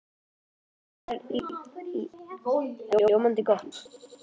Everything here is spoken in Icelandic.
Það er ljómandi gott!